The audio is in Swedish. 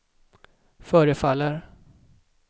förefaller